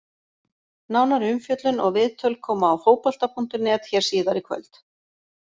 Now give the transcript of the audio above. Nánari umfjöllun og viðtöl koma á Fótbolta.net hér síðar í kvöld!